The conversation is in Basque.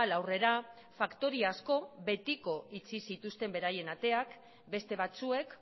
aurrera faktoria asko betiko itxi zituzten beraien ateak beste batzuek